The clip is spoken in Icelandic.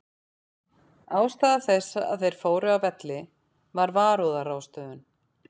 Ástæða þess að þeir fóru af velli var varúðarráðstöfun.